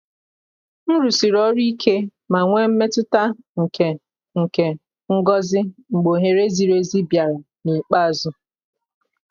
m rụsiri ọrụ ike ma nwee mmetụta nke nke ngọzi mgbe ohere ziri ezi bịara n’ikpeazụ.